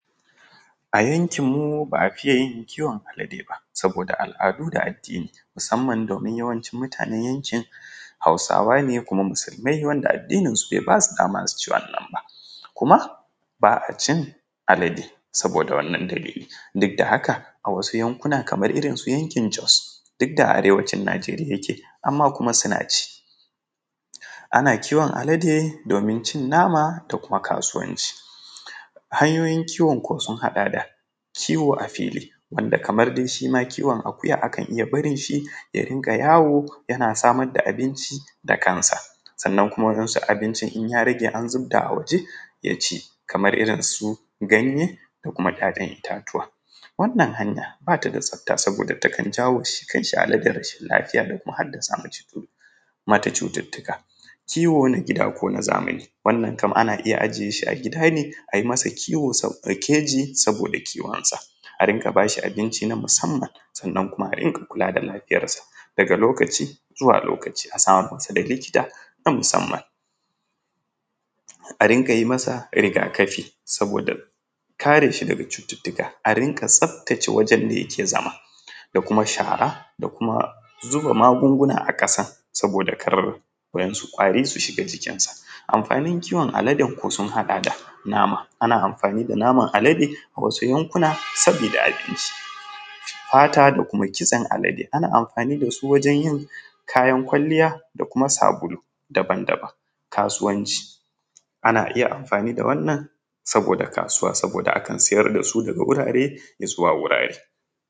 A yankinmu ba a fiya kiwo Alade ba saboda al’adu da addini musamman domin yawanci mutanan yankin hausawa ne kuma musulmai wanda addinisu bai basu dama su ci wannan ba kuma ba a cin Alade saboda wannan dalilin duk da haka a wasu yankuna kamar irin su yankin Jos duk da Arewacin Nijeriya yake amma kuma suna ci, ana kiwon Alade domin cin nama da kuma kasuwanci, hayoyin kiwon sun haɗa da kiwo a fili wanda kamar ma shi ma kiwon akuya a kan iya barin shi ya rika yawo yana samar da abinci da kansa sannan kuma wasu abincin in ya rage an zubta a waje ya ci da kansa kamar irin su ganye da kuma ‘ya’yan itatuwa, wannan hanya bata da tsafta saboda jawo shi kanshi Alade rashin lafiya da hadasa mata cututtuka. Kiwo na gida ko na zamani, wannan kam ana iya ajiye shi a gida ne ayi masa keji saboda kiwon sa a ringa bashi abinci na musamman sannan kuma a ringa kula da lafiyarsa daga lokaci zuwa lokaci a samun masa likita na musamman, a ringa yi masa rigakafi saboda kare shi daga cututtuka, a ringa tsaftace wurin da yake zama da kuma shara da kuma zuba magunguna a kasa saboda kar wasu ƙwari su shiga cikin sa, amfanin kiwon Aladen sun haɗa da nama ana amfani da naman Alade a wasu yankuna saboda a ci, fata da kuma kishen Alade ana amfani da su wajen yin kayan ƙwaliya da kuma sabulu daban-daban, kasuwanci ana iya amfani da wannan saboda kasuwa saboda akan siyar da su daga wurare ya zuwa wurare.